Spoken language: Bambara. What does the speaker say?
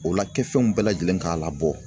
O la kɛfɛnw bɛɛ lajɛlen k'a labɔ.